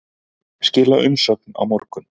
Skila umsögn á morgun